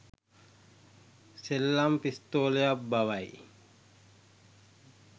සෙල්ලම් පිස්තෝලයක් බවයි